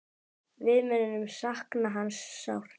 Við munum sakna hans sárt.